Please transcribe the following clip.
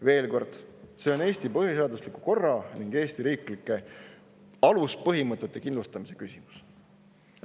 Veel kord, see on Eesti põhiseadusliku korra ning Eesti riigi aluspõhimõtete kindlustamise küsimus.